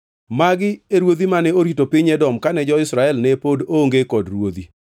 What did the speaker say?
Magi e ruodhi mane orito piny Edom kane jo-Israel ne pod onge kod ruodhi: